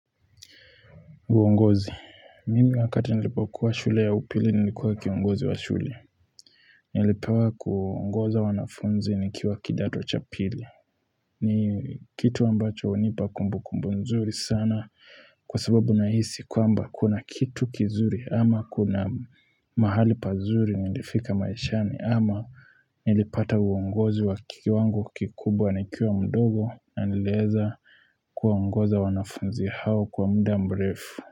Uongozi mimi wakati nilipo kuwa shule ya upili nilikuwa kiongozi wa shule Nilipewa kuongoza wanafunzi nikiwa kidato cha pili ni kitu ambacho unipa kumbu kumbu nzuri sana kwa sababu na hisi kwamba kuna kitu kizuri ama kuna mahali pazuri nilifika maishani ama Nilipata uongozi wa kikiwango kikubwa ni kiwa mdogo na nilieza kuwaongoza wanafunzi hao kwa mda mrefu.